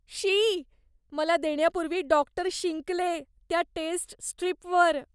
शी, मला देण्यापूर्वी डॉक्टर शिंकले त्या टेस्ट स्ट्रीपवर.